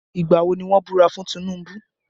Ìgbà wo ni wọ́n búra fún Tinubu?